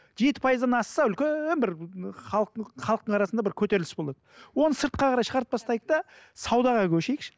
жеті пайыздан асса үлкен бір халықтың халықтың арасында бір көтеріліс болады оны сыртқа қарай шығарып тастайық та саудаға көшейікші